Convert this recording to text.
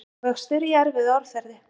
Hagvöxtur í erfiðu árferði